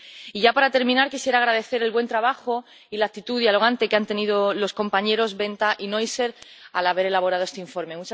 Y, ya para terminar, quisiera agradecer el buen trabajo y la actitud dialogante que han tenido los compañeros Wenta y Neuser al haber elaborado este informe.